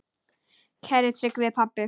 Kæri Tryggvi pabbi.